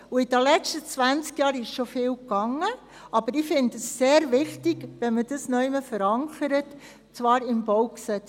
In den letzten zwanzig Jahren ist schon vieles gelaufen, aber ich finde es sehr wichtig, dass man das irgendwo verankert, und zwar im BauG.